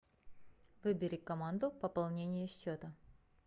выбери команду пополнение счета